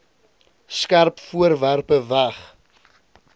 skerp voorwerpe weg